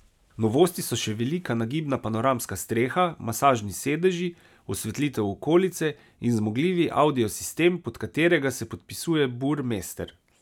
Novosti so še velika nagibna panoramska streha, masažni sedeži, osvetlitev okolice, in zmogljivi audio sistem, pod katerega se podpisuje Burmester.